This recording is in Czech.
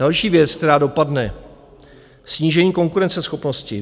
Další věc, která dopadne, snížení konkurenceschopnosti.